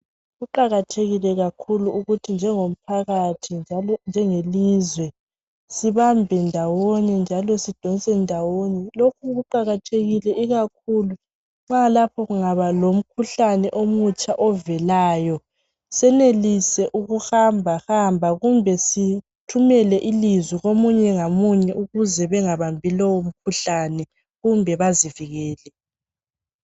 Kuqakathekile kakhulu ukuthi njengo mphakathi njenge lizwe sibambe ndawonye njalo sidonse ndawonye. Lokhu kuqakathekile ikakhulu ma lapho kungaba lomkhuhlane omutsha ovelayo, senelise ukuhamba hamba kumbe sithumele ilizwi komunye ngamunye ukuze bengabambi lo mkhuhlane kumbe bazivikele.